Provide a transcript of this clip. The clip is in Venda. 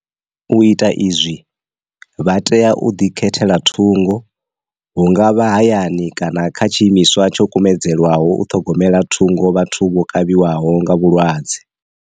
U ita izwi, vha tea u ḓi khethela thungo hu nga vha hayani kana kha tshi imiswa tsho kumedzelwaho u ṱhogomela thungo vhathu vho kavhiwaho nga vhulwadze.